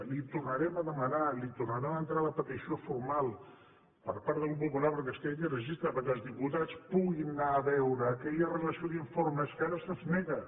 li ho tornarem a demanar li tornarem a entrar la petició formal per part del grup popular perquè es creï aquest registre perquè els diputats puguin anar a veure aquella relació d’informes que ara se’ns nega